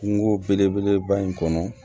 Kungo belebeleba in kɔnɔ